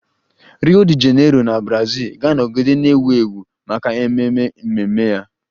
Rio De Janeiro na Brazil ga-anọgide na-ewu ewu maka ememe mmemme ya